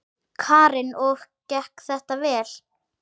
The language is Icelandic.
Karen: Og gekk þetta vel?